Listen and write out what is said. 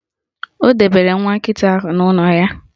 O debere nwa nkịta ahụ n'ụlọ ya.